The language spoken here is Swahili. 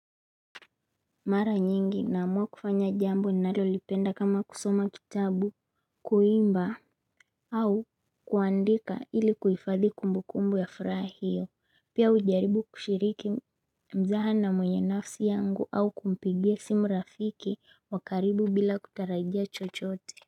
Mara nyingi naamua kufanya jambo ninalolipenda kama kusoma kitabu kuimba au kuandika ili kuifadhi kumbukumbu ya fraha hiyo pia hujaribu kushiriki mzaha na mwenye nafsi yangu au kumpigia simu rafiki wa karibu bila kutarajia chochote.